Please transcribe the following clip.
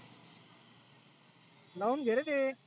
लावून घे रे ते.